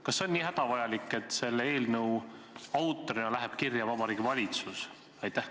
Kas see on nii hädavajalik, et selle eelnõu autorina läheb kirja Vabariigi Valitsus?